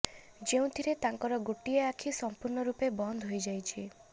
ଯେଉଁଥିରେ ତାଙ୍କର ଗୋଟିଏ ଆଖି ସମ୍ପୁର୍ଣ୍ଣ ରୁପେ ବନ୍ଦ ହୋଇଯାଇଛି